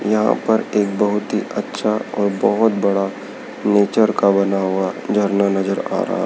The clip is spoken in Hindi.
यहां पर एक बहोत ही अच्छा और बहोत बड़ा नेचर का बना हुआ झरना नजर आ रहा--